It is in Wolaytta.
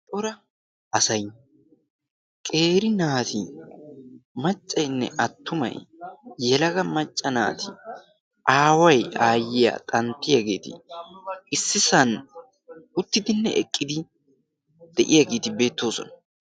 xoora asay qeeri naati maccaynne attumay yelaga macca naati aaway aayyiya xanttiyaageeti issisan uttidinne eqqidi de'iyaageeti beettoosona.